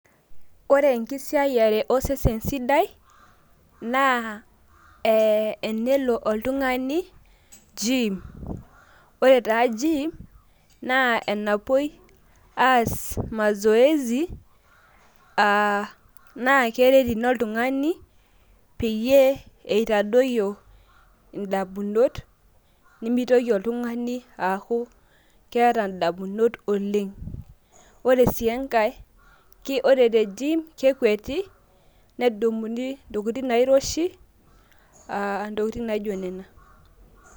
Kore enkisiayare osesen sidai naa ee enelo oltung'ani gym. Ore taa gym naa enapoi aas mazoesi aa naake eret ina oltung'ani peyie itadoyioyo indamunot nemitoki oltung'ani aaku keeta indamunot oleng'. Ore sii enkae ore te gym kekweti nedumuni ntokitin nairoshi, ntokitin naijo nena.